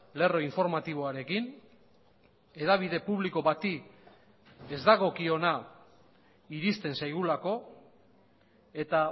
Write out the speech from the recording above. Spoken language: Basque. lerro informatiboarekin hedabide publiko bati ez dagokiona iristen zaigulako eta